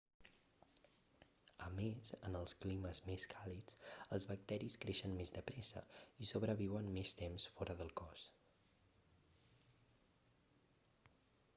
a més en els climes més càlids els bacteris creixen més de pressa i sobreviuen més temps fora del cos